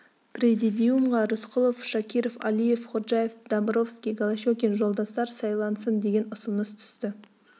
президиумге рысқұлов шакиров алиев ходжаев домбровский голощекин жолдастар сайлансын деген ұсыныс түсті